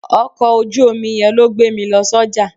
Ọkọ̀ ojú omi yẹn ló gbé mi lọ sọ́jà.